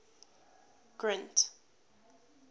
grint